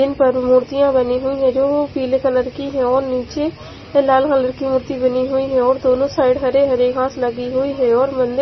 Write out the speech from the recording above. इनपर मुर्तिया बनी हुई है जो पीले कलर की है और निचे लाल कलर की मूर्ति बनी हुई है और दोनों साइड हरी हरी घास लगी हुई है और मन्दिर --